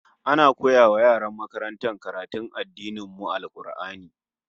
Ana koya wa yaran makarantar addinin mu karatun Al-Qur'ani